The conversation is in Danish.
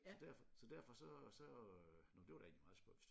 Så derfor så derfor så så øh nå det var da egentlig meget spøjst